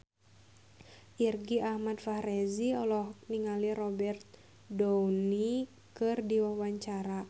Irgi Ahmad Fahrezi olohok ningali Robert Downey keur diwawancara